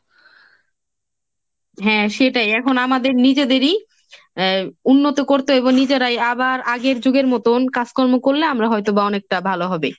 হ্যাঁ সেটাই এখন আমাদের নিজেদেরই আহ উন্নত করতে হইব নিজেরাই আবার আগের যুগের মতন কাজকর্ম করলে আমরা হয়তো বা অনেকটা ভালো হবে।